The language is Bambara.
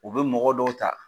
U bɛ mɔgɔ dɔw ta